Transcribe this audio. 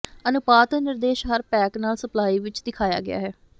ਅਨੁਪਾਤ ਨਿਰਦੇਸ਼ ਹਰ ਪੈਕ ਨਾਲ ਸਪਲਾਈ ਵਿਚ ਦਿਖਾਇਆ ਗਿਆ ਹੈ